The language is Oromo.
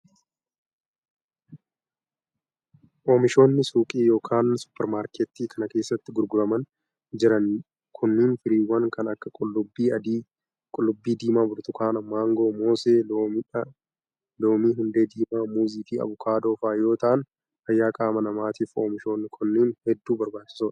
Oomishoonni suuqii yookin supparmaarkettii kana keessatti gurguramaa jiran kunneen firiiwwan kan akka:qullubbii adii, qullubbii diimaa, burtukaana. maangoo, moosee ,loomiihundee diimaa ,muuzii fi avokaadoo faa yoo ta'an fayyaa qaama namaatiif oomishoonni kunneen hedduu barbaachisoo dha.